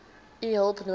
u hulp nodig